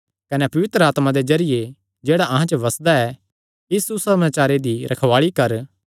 कने पवित्र आत्मा दे जरिये जेह्ड़ा अहां च बसदा ऐ इस सुसमाचारे दी रखवाल़ी कर